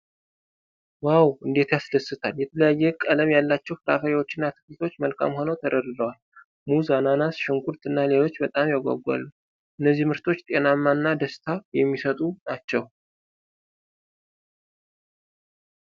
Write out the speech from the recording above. ዋው እንዴት ያስደስታል! የተለያየ ቀለማት ያላቸው ፍራፍሬዎችና አትክልቶች መልካም ሆነው ተደርድረዋል። ሙዝ፣ አናናስ፣ ሽንኩርት እና ሌሎችም በጣም ያጓጓሉ። እነዚህ ምርቶች ጤናማ እና ደስታ የሚሰጡ ናቸው።